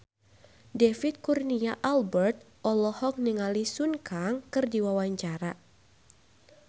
David Kurnia Albert olohok ningali Sun Kang keur diwawancara